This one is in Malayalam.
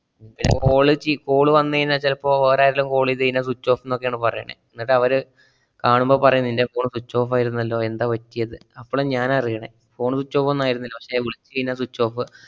phone ലേക്ക് call വന്നയിഞ്ഞാ ചെലപ്പോ വേറെ ആരേലും call എയ്തുകഴിഞ്ഞാൽ switch off ന്നൊക്കെയാണ് പറയണെ. എന്നിട്ടവര് കാണുമ്പോ പറയും നിന്‍റെ phone switch off ആയിരുന്നല്ലോ എന്താ പറ്റിയത്? അപ്പളാ ഞാൻ അറിയണെ phone switch off ഒന്നും ആയിരുന്നില്ല പക്ഷെ വിളിച്ചുകഴിഞ്ഞാൽ switch off